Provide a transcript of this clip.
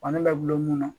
Fani bɛ gulon mun na